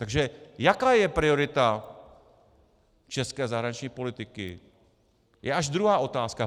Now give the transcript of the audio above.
Takže jaká je priorita české zahraniční politiky, je až druhá otázka.